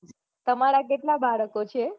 તમારા કેટલા બાળકો છે